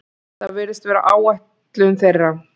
Það virðist vera áætlun þeirra